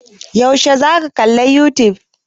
Yaushe za ka kalla a youtube?